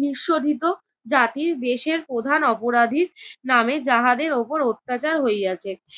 নিঃশোধিত জাতির দেশের প্রধান অপরাধীর নামে যাহাদের উপর অত্যাচার হইয়াছে